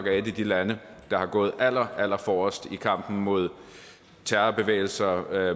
af de lande der har gået allerforrest i kampen mod terrorbevægelser